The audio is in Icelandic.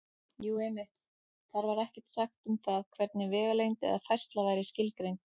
Jú, einmitt: Þar var ekkert sagt um það hvernig vegalengd eða færsla væri skilgreind!